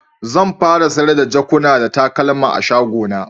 Zan fara sayar da jakuna da takalma a'shago na.